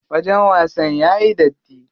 Wajen wasan yayi datti.